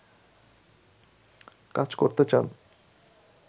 কাজ করতে চান